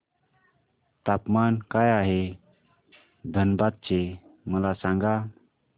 तापमान काय आहे धनबाद चे मला सांगा